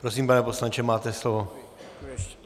Prosím, pane poslanče, máte slovo.